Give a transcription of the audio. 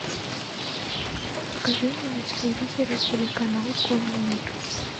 покажи мне на телевизоре телеканал конный мир